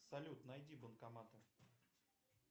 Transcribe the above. салют найди банкоматы